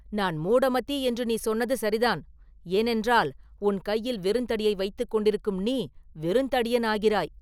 நான் ‘மூடமதி’ என்று நீ சொன்னது சரிதான் ஏனென்றால், உன் கையில் வெறுந்தடியை வைத்துக் கொண்டிருக்கும் நீ வெறுந்தடியன் ஆகிறாய்.